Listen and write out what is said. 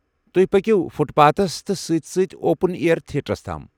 تۄہہِ پكِو foot paths تہِ سۭتۍ سۭتۍ اوپن اییر تھیٹرس تام۔